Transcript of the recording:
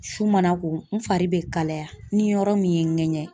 Su mana ko, n fari bɛ kalaya ,ni yɔrɔ min ye ŋɛgɛn.